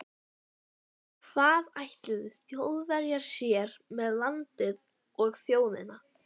Hvað ætluðu Þjóðverjar sér með landið og þjóðina?